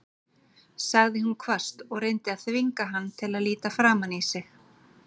sagði hún hvasst og reyndi að þvinga hann til að líta framan í sig.